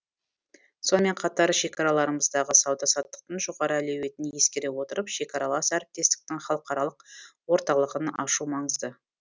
сонымен қатар шекараларымыздағы сауда саттықтың жоғары әлеуетін ескере отырып шекаралас әріптестіктің халықаралық орталығын ашу маңызды